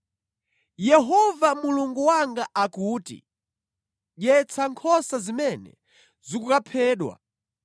Yehova Mulungu wanga akuti, “Dyetsa nkhosa zimene zikukaphedwa.